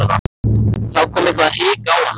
Þá kom eitthvert hik á hana.